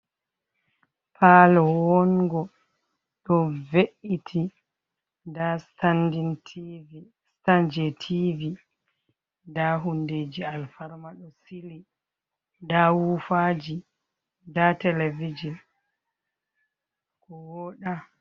Palo wongo ɗo ve’iti, nda Stan je tivi, nda hundeji alfarma ɗo sili, nda wufaji, nda televijin ko woɗa.